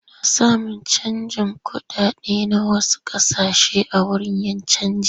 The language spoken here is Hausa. Ana samun canjin kuɗaɗe na wash ƙasashen a wurin 'yan canji.